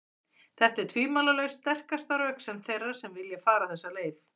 Þetta er tvímælalaust sterkasta röksemd þeirra sem vilja fara þessa leið.